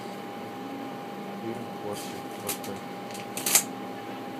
фильм порча поставь